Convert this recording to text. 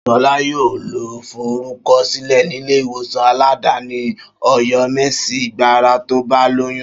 Ṣọlá yóò lọ forúkọ sílẹ̀ nílé ìwòsàn aládàáni Ọ̀yọ́mèsì gbàrà tó bá lóyún